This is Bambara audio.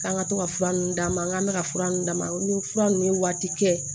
K'an ka to ka fura ninnu d'a ma an k'an ka fura ninnu d'a ma n ko ni fura ninnu ye waati kɛ